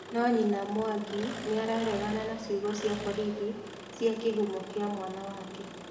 No nyina Mwangi nĩararegana na ciugo cia borithi cia kĩhumo kĩa mwana wake.